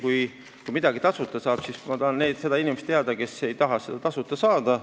Kui midagi tasuta saab, siis ma tahan teada, kes on see inimene, kes ei taha seda saada.